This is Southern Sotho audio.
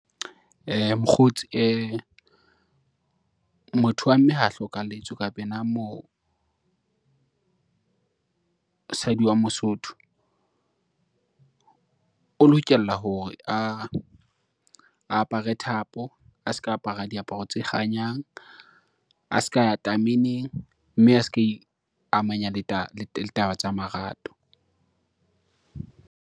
Mokgotsi motho wa mme ha hlokalletswe kapa ena mosadi wa Mosotho, o lokela hore a apare thapo, a se ka apara diaparo tse kganyang, a ska ya tameneng, mme a ska iamanya le taba tsa marato.